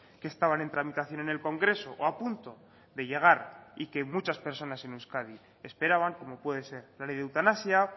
que estaban en tramitación en el congreso o a punto de llegar y que muchas personas en euskadi esperaban como puede ser la ley de eutanasia